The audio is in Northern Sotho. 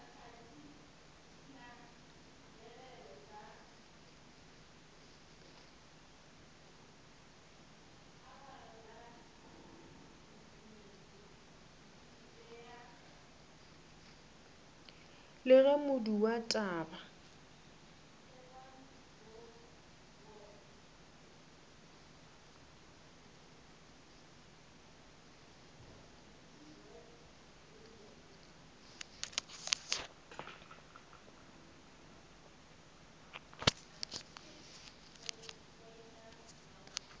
le ge modu wa taba